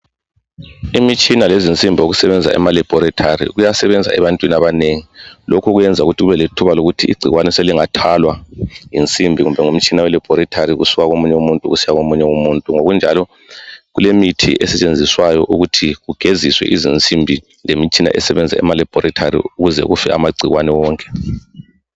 Imitshina lezinsimbi okusebenza ema laboratory kuyasebenza ebantwini abanengi. Lokhu kwenza kumbe lethuba lokuthi igcikwane swlingathwalwa ngensimbi kumbe ngomtshina we laboratory kusuka komunye umuntu kusiya komunye umuntu Ngokunjalo kulemithi esetshenziswayo ukuthi kugeziswe izinsimbi lemitshina esebenza ema laboratory ukuze life amagcikwane wonke.